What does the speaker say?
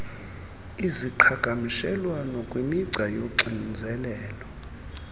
iziqhagamshelo kwimigca yoxinzelelo